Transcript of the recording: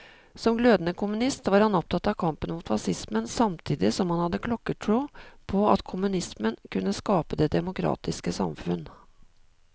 Som glødende kommunist var han opptatt av kampen mot facismen, samtidig som han hadde klokketro på at kommunismen kunne skape det demokratiske samfunn.